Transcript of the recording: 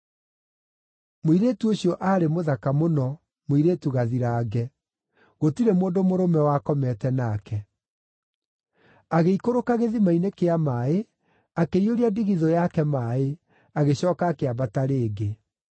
Mũirĩtu ũcio aarĩ mũthaka mũno, mũirĩtu gathirange; gũtirĩ mũndũ mũrũme wakomete nake. Agĩikũrũka gĩthima-inĩ kĩa maaĩ, akĩiyũria ndigithũ yake maaĩ, agĩcooka akĩambata rĩngĩ.